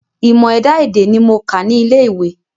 Ìmọ̀ ẹ̀dá-èdè ní mo kà ní ilé ìwé.